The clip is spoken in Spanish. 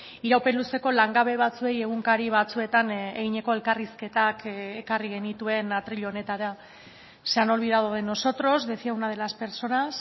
iraupen luzeko langabe batzuei egunkari batzuetan eginiko elkarrizketak ekarri genituen atril honetara se han olvidado de nosotros decía una de las personas